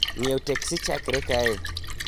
ng�iewo teksi chakre kae